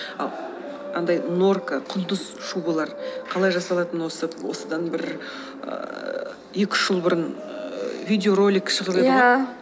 андай норка құңдыз шубылар қалай жасалатыны осы осыдан бір ііі екі үш жыл бұрын ііі видеоролик шығып еді ғой иә